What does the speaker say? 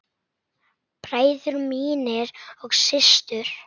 Bræður mínir og systur.